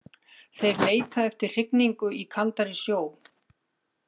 Þeir leita eftir hrygningu í kaldari sjó.